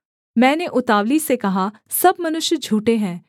मैंने उतावली से कहा सब मनुष्य झूठें हैं